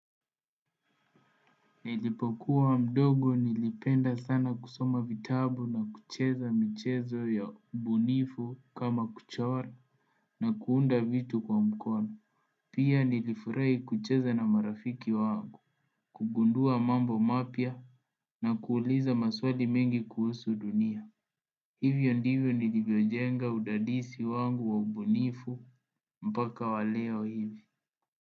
Nilipokuwa mdogo, nilipenda sana kusoma vitabu na kucheza michezo ya umbunifu kama kuchora na kuunda vitu kwa mkono Pia nilifurahi kucheza na marafiki wangu kugundua mambo mapya, na kuuliza maswali mengi kuhusu dunia Hivyo ndivyo nilivyojenga udadisi wangu wa ubunifu, mpaka wa leo hivi.